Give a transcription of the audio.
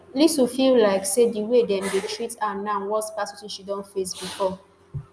lisu feel like say di way dem dey treat am now worse pass wetin she don face bifor